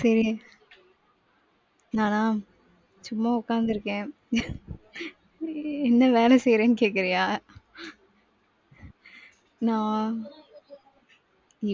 சரி நானா சும்மா உக்காந்துருக்கேன் என்ன வேலை செய்றேன் கேக்குறியா? நான்,